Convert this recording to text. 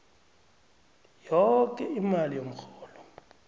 yoke imali yomrholo